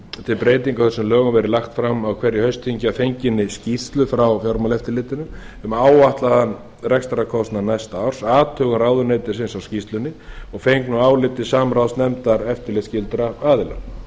til breytinga á þessum lögum verið lagt fram á hverju haustþingi að fenginni skýrslu frá fjármálaeftirlitinu um áætlaðan rekstrarkostnað næsta árs athugun ráðuneytisins á skýrslunni og fengnu áliti samráðsnefndar eftirlitsskyldra aðila